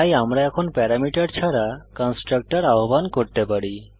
তাই এখন আমরা প্যারামিটার ছাড়া কন্সট্রাকটর আহ্বান করতে পারি